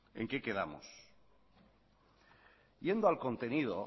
en qué quedamos yendo al contenido